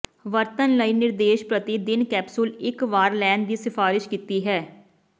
ਵਰਤਣ ਲਈ ਨਿਰਦੇਸ਼ ਪ੍ਰਤੀ ਦਿਨ ਕੈਪਸੂਲ ਇੱਕ ਵਾਰ ਲੈਣ ਦੀ ਸਿਫਾਰਸ਼ ਕੀਤੀ ਹੈ